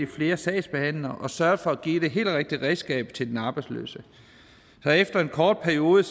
flere sagsbehandlere og har sørget for at give det helt rigtige redskab til den arbejdsløse efter en kort periode